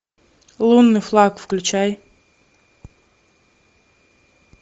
лунный флаг включай